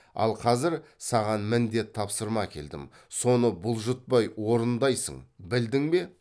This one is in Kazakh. ал қазір саған міндет тапсырма әкелдім соны бұлжытпай орындайсың білдің бе